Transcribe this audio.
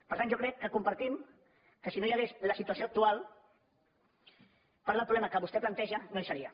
per tant jo crec que compartim que si no hi hagués la situació actual part del problema que vostè planteja no hi seria